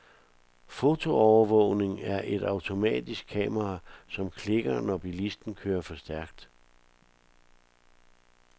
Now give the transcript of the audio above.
Fotoovervågning er et automatisk kamera, som klikker når bilisten kører for stærkt.